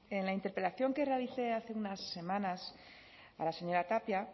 en la interpelación que realicé hace unas semanas a la señora tapia